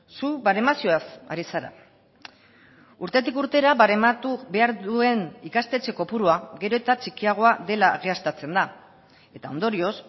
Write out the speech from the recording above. zu baremazioaz ari zara urtetik urtera barematu behar duen ikastetxe kopurua gero eta txikiagoa dela egiaztatzen da eta ondorioz